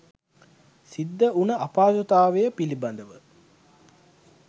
සිද්ධ වුන අපහසුතාවය පිළිබඳව.